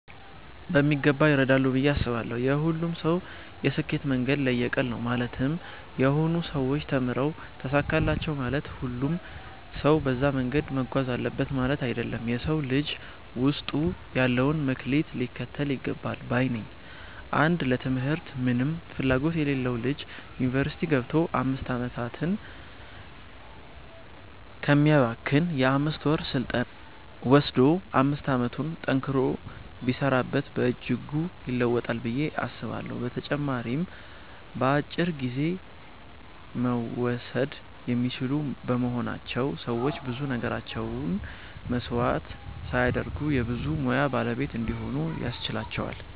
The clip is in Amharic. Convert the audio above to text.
በሚገባ ይረዳሉ ብዬ አስባለው። የሁሉም ሰው የስኬት መንገድ ለየቅል ነው ማለትም የሆኑ ሰዎች ተምረው ተሳካላቸው ማለት ሁሉም ሰው በዛ መንገድ መጓዝ አለበት ማለት አይደለም። የ ሰው ልጅ ውስጡ ያለውን መክሊት ሊከተል ይገባል ባይ ነኝ። አንድ ለ ትምህርት ምንም ፍላጎት የሌለው ልጅ ዩኒቨርስቲ ገብቶ 5 አመታትን ከሚያባክን የ 5ወር ስልጠና ወሰዶ 5 አመቱን ጠንክሮ ቢሰራበት በእጅጉ ይለወጣል ብዬ አስባለሁ። በተጨማሪም በአጭር ጊዜ መወሰድ የሚችሉ በመሆናቸው ሰዎች ብዙ ነገራቸውን መስዋዕት ሳያደርጉ የ ብዙ ሙያ ባለቤት እንዲሆኑ ያስችላቸዋል።